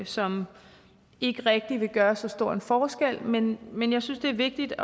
som ikke rigtig vil gøre så stor en forskel men men jeg synes det er vigtigt